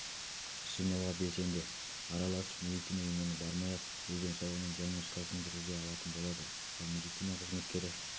жинауға белсенді араласып медицина ұйымдарына бармай-ақ өз денсаулығының диагностикасын жүргізе алатын болады ал медицина қызметкері